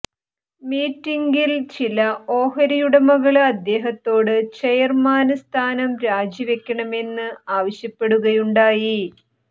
മീറ്റിംഗിൽ ചില ഓഹരിയുടമകള് അദ്ദേഹത്തോട് ചെയര്മാന് സ്ഥാനം രാജിവയ്ക്കണമെന്ന് ആവശ്യപ്പെടുകയുണ്ടായി